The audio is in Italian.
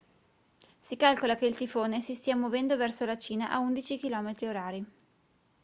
si calcola che il tifone si stia muovendo verso la cina a 11 km/h